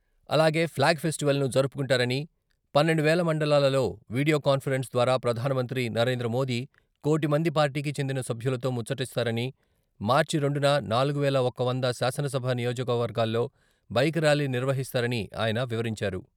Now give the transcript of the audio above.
అలాగే ఫ్లాగ్ ఫెస్టివల్ను జరుపుకుంటారనీ, పన్నెండు వేల మండలాలలో వీడియో కాన్ఫరెన్స్ ద్వారా ప్రధానమంత్రి నరేంద్రమోదీ కోటి మంది పార్టీకి చెందిన సభ్యులతో ముచ్చటిస్తారనీ, మార్చి రెండున నాలుగు వేల ఒక వంద శాసనసభ నియోజకవర్గాల్లో బైక్ ర్యాలీ నిర్వహిస్తారనీ ఆయన వివరించారు.